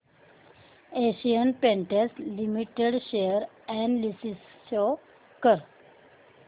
Asian paints limited share analysis show कर